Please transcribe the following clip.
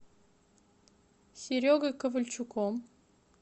серегой ковальчуком